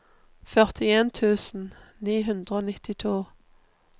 førtien tusen ni hundre og nittito